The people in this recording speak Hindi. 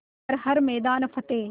कर हर मैदान फ़तेह